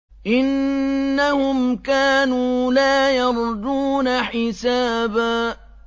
إِنَّهُمْ كَانُوا لَا يَرْجُونَ حِسَابًا